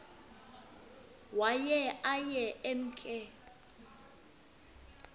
waye aye emke